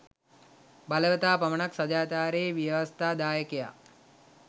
බලවතා පමණක් සාදාචාරයේ ව්‍යවස්ථාදායකයා